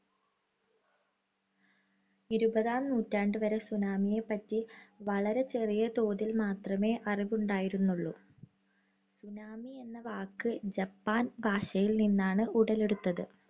ഇരുപതാം നൂറ്റാണ്ടുവരെ tsunami യെപ്പറ്റി വളരെ ചെറിയ തോതിൽ മാത്രമേ അറിവുണ്ടായിരുന്നുള്ളൂ. tsunami എന്ന വാക്ക്, ജപ്പാൻ ഭാഷയിൽ നിന്നും ഉടലെടുത്തത്.